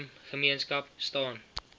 moslem gemeenskap staan